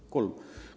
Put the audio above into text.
Jah, kolm!